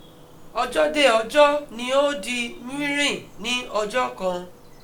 Ọ̀jo de ọjọ́ ni ó di ní ọjọ́ kan